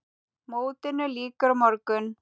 Mótinu lýkur á morgun.